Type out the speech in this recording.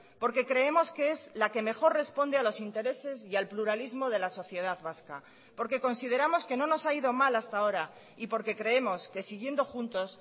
porque creemos que es la que mejor responde a los intereses y al pluralismo de la sociedad vasca porque consideramos que no nos ha ido mal hasta ahora y porque creemos que siguiendo juntos